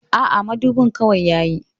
Aa, madubin kawai yayi